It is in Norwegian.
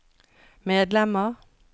medlemmer